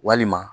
Walima